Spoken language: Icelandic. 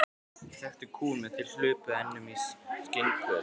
Við þekktum kúgun meðan þið hlupuð enn um í skinnpjötlum.